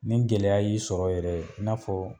Ni gɛlɛya y'i sɔrɔ yɛrɛ de i n'a fɔ.